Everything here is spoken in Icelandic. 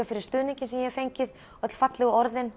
fyrir stuðninginn sem ég hef fengið öll fallegu orðin